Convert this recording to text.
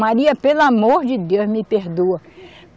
Maria, pelo amor de Deus, me perdoa.